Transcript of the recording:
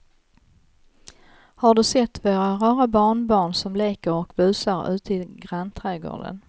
Har du sett våra rara barnbarn som leker och busar ute i grannträdgården!